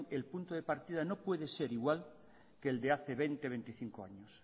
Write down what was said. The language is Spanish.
el punto de partida no puede ser igual que el de hace veinte veinticinco años